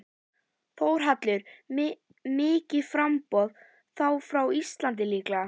Þórhallur: Mikið framboð, þá frá Íslandi líka?